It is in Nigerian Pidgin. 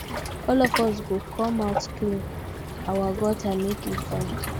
all of us go come out clean our gutter make e fine